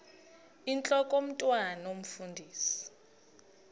intlok omntwan omfundisi